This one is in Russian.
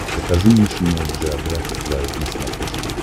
покажи нейшенел джеографик вайлд на смотрешке